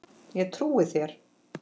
Ég trúi þér